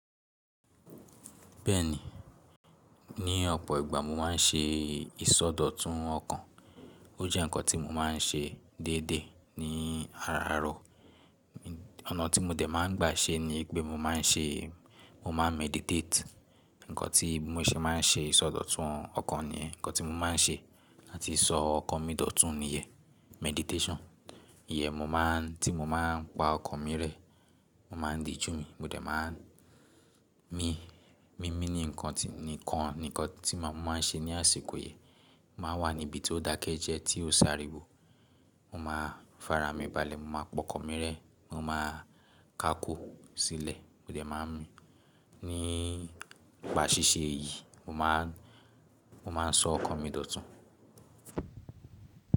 Bẹ́ẹ̀ni, ní ọ̀pọ̀ ìgbà mo má a ń ṣe ìsọdọ̀tun ọkàn. Ó jẹ́ ǹkan tí mo má a ń ṣe déédé ní araàárọ̀. Ọ̀nà tí mo dẹ̀ má ń gbà ṣe ni pé mo má a ń ṣe, mo má a meditate. Ǹkan tí mo ṣe má a ń ṣe ìsọdọ̀tun ọkàn niyen ǹkan tí mo má a ń ṣe láti sọ ọkàn mi dòtún ni ìyẹn meditation. Ìyẹn mo má a ń, tí mo má a ń pa ọkàn mi rẹ́, mo má ń diju mi, mo dẹ̀ má ń mi, mímí ni nkan tí, nìkan, nì nkan tí mo má a ń ṣe ní àsìkò yẹn. Mo má a wà ní ibi tí ó dákẹ́ jẹ́ẹ́, tí ó s'áríwò. Mo má a farami balẹ̀, mo má a pa ọkàn mi rẹ́, mo má a ká kò sílẹ̀, mo dẹ̀ má ń mi. Nípa ṣíṣe èyí, mo má a, mo má a sọ ọkàn mi dòtún.